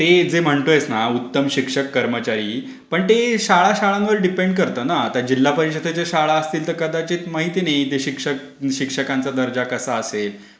ते जे म्हणतोयस ना की उत्तम शिक्षक कर्मचारी पण ते शाळां-शाळांवर अवलंबून आहे. आता जिल्हा परिषदेच्या शाळांमध्ये कदाचित माहिती नाही शिक्षक कसे, शिक्षकांचा दर्जा कसा असेल